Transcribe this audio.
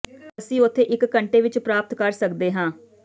ਅਸੀਂ ਉੱਥੇ ਇੱਕ ਘੰਟੇ ਵਿੱਚ ਪ੍ਰਾਪਤ ਕਰ ਸਕਦੇ ਹਾਂ